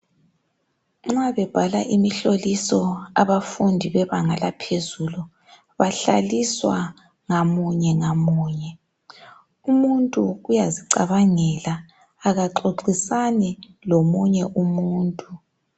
Nxa bebhala imihloliso abafundi bebanga laphezulu bahlaliswa ngamunye ngamunye umuntu uyazicabangela akaxoxisani lomunye umuntu.